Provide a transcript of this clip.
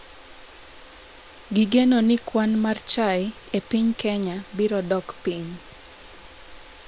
Gigeno ni kwan mar chai e piny Kenya biro dok piny